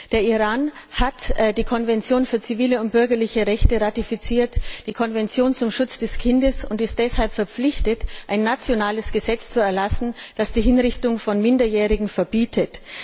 Der Iran hat die Konvention für zivile und bürgerliche Rechte und die Konvention zum Schutz des Kindes ratifiziert und ist deshalb verpflichtet, ein nationales Gesetz zu erlassen, das die Hinrichtung von Minderjährigen verbietet.